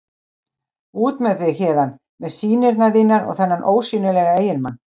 Út með þig héðan með sýnirnar þínar og þennan ósýnilega eiginmann.